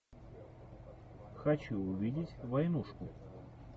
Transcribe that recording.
хочу увидеть войнушку